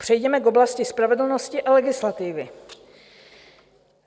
Přejděme k oblasti spravedlnosti a legislativy.